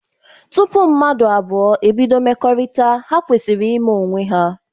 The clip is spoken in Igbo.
Tụpụ mmadụ abụọ ebido mmekorita, ha kwesiri ima onwe ha.